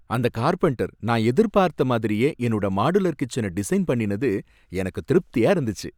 அந்த கார்பெண்டர் நான் எதிர்பாத்த மாதிரியே என்னோட மாடுலர் கிட்சன டிஸைன் பண்ணினது எனக்கு திருப்தியா இருந்துச்சு.